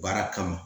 Baara kama